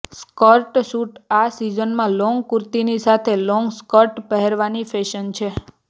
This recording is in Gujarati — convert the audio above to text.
સ્કર્ટ સૂટઃ આ સિઝનમાં લોંગ કુર્તાની સાથે લોંગ સ્કર્ટ પહેરવાની ફેશન છે